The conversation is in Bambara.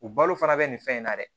U balo fana bɛ nin fɛn in na dɛ